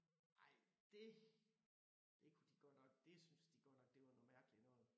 Nej det det kunne de godt nok det syntes de godt nok det var noget mærkeligt noget